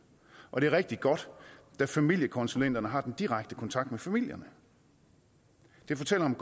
og det er rigtig godt da familiekonsulenterne har den direkte kontakt med familierne det fortæller om